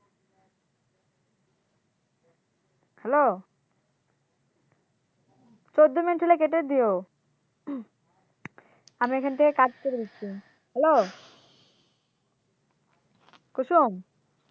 hello চৌদ্দ minute হইলে কেটে দিও উহ আমার এখান থেকে কাটতে বলছে হ্যালো কুসুম